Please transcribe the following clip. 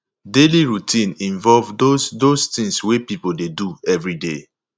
daily routine involve those those things wey person dey do everyday